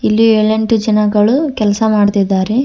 ಇಲ್ಲಿ ಏಳು ಎಂಟು ಜನಗಳು ಕೆಲಸ ಮಾಡುತ್ತಿದ್ದಾರೆ.